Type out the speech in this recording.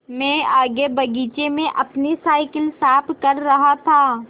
मैं आगे बगीचे में अपनी साईकिल साफ़ कर रहा था